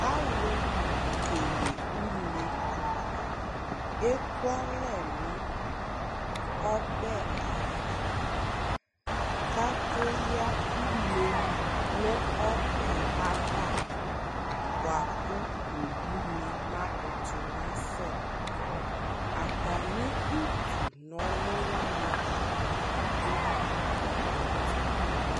Alʋ kele une ekualɛ nʋ ɔbɛ ava ; k'ake yǝ une nʋ ɔbɛɛ ava , bʋa kʋ owunɩ makʋtʋ nasɛ Atamɩ utu n'ɔlʋ wanɩ dʋ atamɩ ɛtʋ